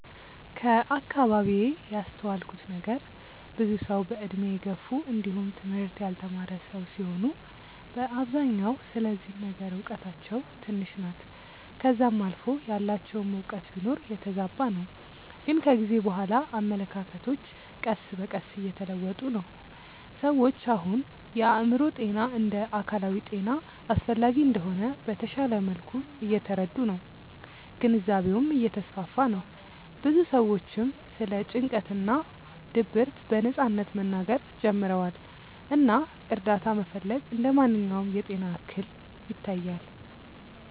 ከአከባቢዬ ያስተዋልኩት ነገር ብዙ ሰዉ በእድሜ የገፉ እንዲውም ትምህርት ያልተማረ ሰዉ ሲሆኑ በአብዛኛው ስለዚህ ነገር እውቀታቸው ትንሽ ናት ከዛም አልፎ ያላቸውም እውቀት ቢኖር የተዛባ ነው ግን ከጊዜ በኋላ አመለካከቶች ቀስ በቀስ እየተለወጡ ነው። ሰዎች አሁን የአእምሮ ጤና እንደ አካላዊ ጤና አስፈላጊ እንደሆነ በተሻለ መልኩ እየተረዱ ነው ግንዛቤውም እየተስፋፋ ነው ብዙ ሰዎችም ስለ ጭንቀት እና ድብርት በነጻነት መናገር ጀምረዋል እና እርዳታ መፈለግ እንደ ማንኛውም የጤና እክል ይታያል።